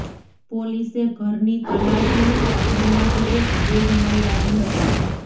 પોલીસે ઘરની તલાશી લેતા ઘરમાંથી એક બેગ મળી આવી હતી